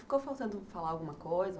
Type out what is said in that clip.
Ficou faltando falar alguma coisa?